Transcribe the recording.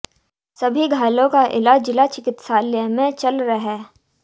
सभी घायलों का इलाज जिला चिकित्सालय में चल रह